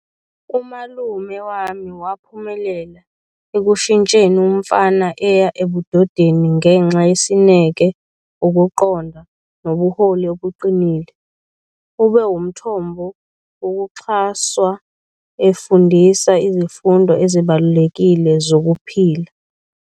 Umalume wami waphumelela ekushintsheni umfana eya ebudodeni ngenxa yesineke, ukuqonda nobuholi obuqinile. Ube umthombo wokuxhaswa efundisa izifundo ezibalulekile zokuphila.